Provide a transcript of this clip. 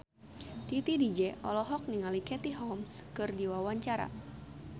Titi DJ olohok ningali Katie Holmes keur diwawancara